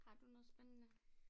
Har du noget spændende?